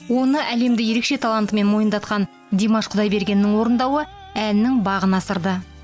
оны әлемді ерекше талантымен мойындатқан димаш құдайбергеннің орындауы әннің бағын асырды